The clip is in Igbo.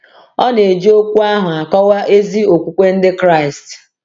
Ọ na-eji okwu ahụ akọwa ezi okwukwe Ndị Kraịst.